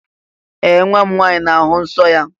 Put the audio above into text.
Ee! Nwa m nwaanyị na-ahụ nsọ́ ya.